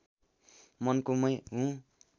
मनको मै हुँ